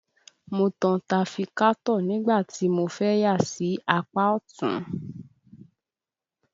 Mo tan tafikátọ̀ nígbà tí mo fẹ́ yà sí apá ọ̀tún